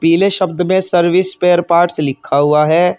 पीले शब्द में सर्विस स्पेयर पार्ट्स लिखा हुआ है।